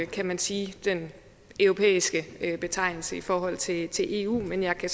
kan man sige den europæiske betegnelse i forhold til til eu men jeg kan